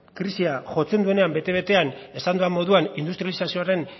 krisiak jotzen duenean bete betean esan dudan moduan industrializazioaren